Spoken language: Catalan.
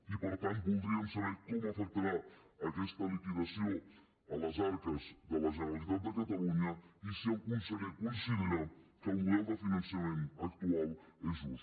i per tant voldríem saber com afectarà aquesta liquidació a les arques de la generalitat de catalunya i si el conseller considera que el model de finançament actual és just